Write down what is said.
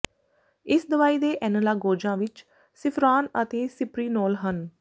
ਇਸ ਦਵਾਈ ਦੇ ਐਨਲਾਗੋਜਾਂ ਵਿੱਚ ਸਿਫੀਰਾਨ ਅਤੇ ਸਿਪਰੀਨੋਲ ਹਨ